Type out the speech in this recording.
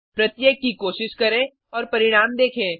प्रत्येक की कोशिश करें और परिणाम देखें